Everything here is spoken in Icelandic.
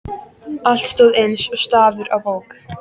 Allt stóð eins og stafur á bók.